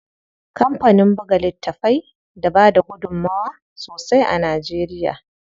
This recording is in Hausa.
Kampanin buga littafai da bada gudunmuwa sosai a Najeriya.